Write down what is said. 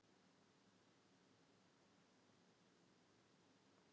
En ber Samfylkingin einhverja ábyrgð að mati forsætisráðherra?